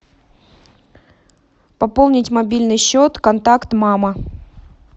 пополнить мобильный счет контакт мама